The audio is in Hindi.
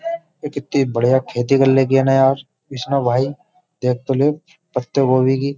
ये कितनी बढ़िया खेती कर ले की ना यार इसने भाई देख तो ले पत्ते गोभी की --